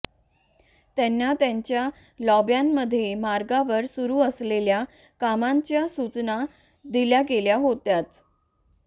त्यांना त्यांच्या लॉब्यांमध्ये मार्गावर सुरू असलेल्या कामांच्या सूचना दिल्या गेल्या होत्याच